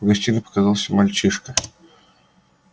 в гостиной показался мальчишка